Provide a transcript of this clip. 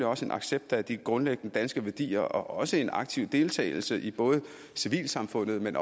også en accept af de grundlæggende danske værdier og også en aktiv deltagelse i både civilsamfundet men